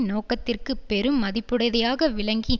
நோக்கத்திற்குப் பெரும் மதிப்புடையதாக விளங்கி